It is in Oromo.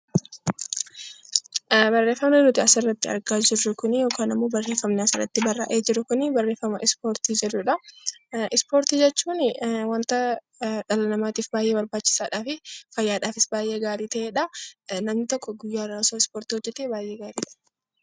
Barreeffamni nuti asirratti argaa jirru yookaan barreeffamni asirratti barraa'e Kun barreeffama ispoortii jedhudha. Ispoortii jechuun waanta dhala namaatiif baayyee barbaachisaadha fi fayyaadhaafis baayyee barbaachisaa ta'edha. Namni tokko osoo ispoortii hojjetee baayyee gaariidha.